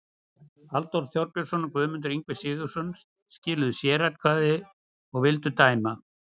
Halldór Þorbjörnsson og Guðmundur Ingvi Sigurðsson skiluðu sératkvæði og vildu dæma